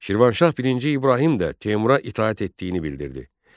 Şirvanşah birinci İbrahim də Teymura itaət etdiyini bildirdi.